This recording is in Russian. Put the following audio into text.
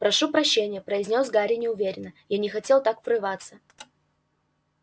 прошу прощения произнёс гарри неуверенно я не хотел так врываться